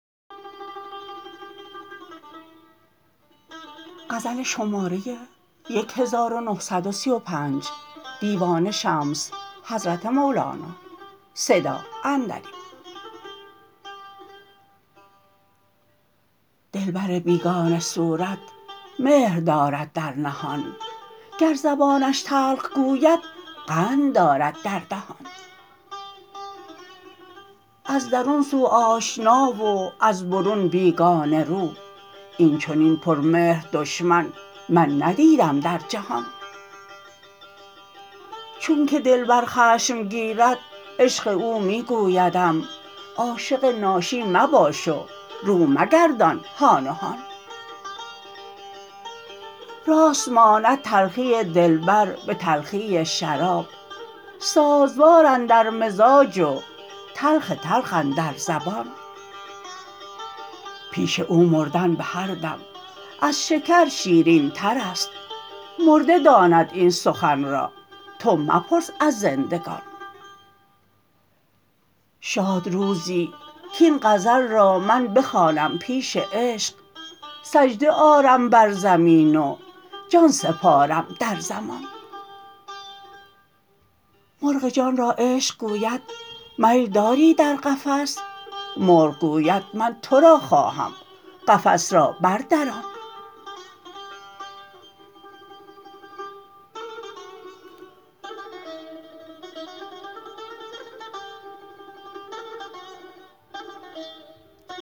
دلبر بیگانه صورت مهر دارد در نهان گر زبانش تلخ گوید قند دارد در دهان از درون سو آشنا و از برون بیگانه رو این چنین پرمهر دشمن من ندیدم در جهان چونک دلبر خشم گیرد عشق او می گویدم عاشق ناشی مباش و رو مگردان هان و هان راست ماند تلخی دلبر به تلخی شراب سازوار اندر مزاج و تلخ تلخ اندر زبان پیش او مردن به هر دم از شکر شیرینتر است مرده داند این سخن را تو مپرس از زندگان شاد روزی کاین غزل را من بخوانم پیش عشق سجده آرم بر زمین و جان سپارم در زمان مرغ جان را عشق گوید میل داری در قفس مرغ گوید من تو را خواهم قفس را بردران